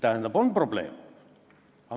Tähendab, on probleem.